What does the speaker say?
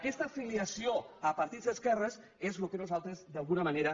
aquesta filiació a partits d’esquerres és el que nosaltres d’alguna manera